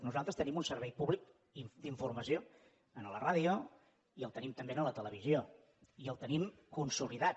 nosaltres tenim un servei públic d’informació a la ràdio i el tenim també a la televisió i el tenim consolidat